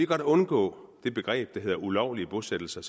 godt undgå det begreb der hedder ulovlige bosættelser